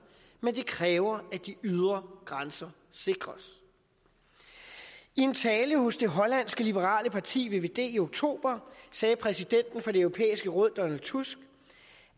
men det kræver at de ydre grænser sikres i en tale hos det hollandske liberale parti vvd i oktober sagde præsidenten for det europæiske råd donald tusk